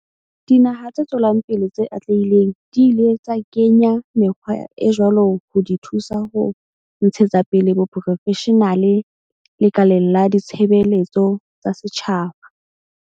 Dinaha tse tswelang pele tse atlehileng di ile tsa kenya mekgwa e jwalo ho di thusa ho ntshetsa pele boprofeshenale lekaleng la ditshebeletso tsa setjhaba.